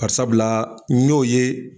Bari sabula n y'o ye